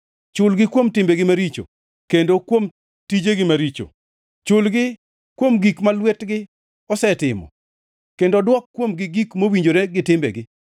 Chulgi kuom timbegi maricho kendo kuom tijegi maricho; chulgi kuom gik ma lwetgi osetimo kendo dwok kuomgi gik mowinjore gi timbegi.